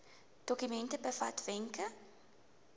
dokument bevat wenke